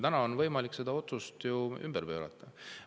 Täna on võimalik see otsus ümber pöörata.